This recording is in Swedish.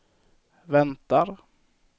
väntar